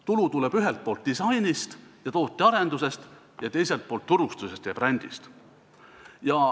Tulu tuleb ühelt poolt disainist ja tootearendusest ning teiselt poolt turustusest ja brändist.